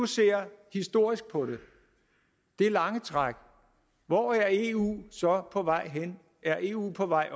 ser historisk på det det lange træk hvor er eu så på vej hen er eu på vej